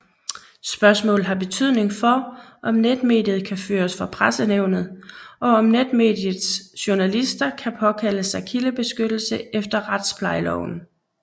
Spørgsmålet har betydning for om netmediet kan føres for Pressenævnet og om netmediets journalister kan påkalde sig kildebeskyttelse efter Retsplejeloven